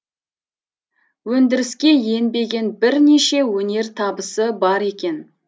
өндіріске енбеген бірнеше өнертабысы бар екен